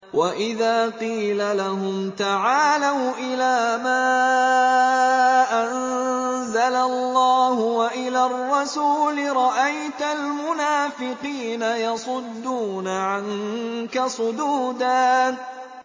وَإِذَا قِيلَ لَهُمْ تَعَالَوْا إِلَىٰ مَا أَنزَلَ اللَّهُ وَإِلَى الرَّسُولِ رَأَيْتَ الْمُنَافِقِينَ يَصُدُّونَ عَنكَ صُدُودًا